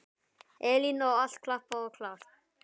Elín: Og allt klappað og klárt?